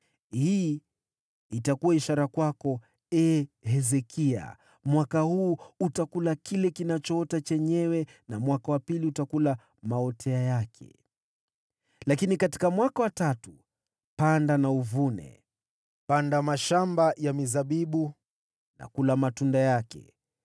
“Hii ndiyo itakuwa ishara kwako, ee Hezekia: “Mwaka huu utakula kile kiotacho chenyewe, na mwaka wa pili utakula kutoka machipukizi yake. Lakini katika mwaka wa tatu, panda na uvune, panda mashamba ya mizabibu na ule matunda yake.